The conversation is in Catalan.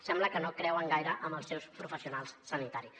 sembla que no creuen gaire en els seus professionals sanitaris